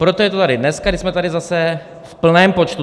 Proto je to tady dneska, když jsme tady zase v plném počtu.